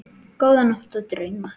Góða nótt og drauma.